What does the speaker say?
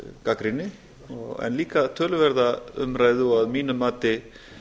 gagnrýni en líka töluverða umræðu og að mínu mati